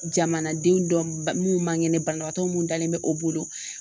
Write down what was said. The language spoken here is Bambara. Jamanadenw dɔ mun man kɛnɛ banabaatɔ mun dalen bɛ o bolo.